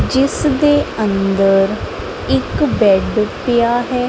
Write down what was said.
ਜਿਸ ਦੇ ਅੰਦਰ ਇੱਕ ਬੈਡ ਪਿਆ ਹੈ।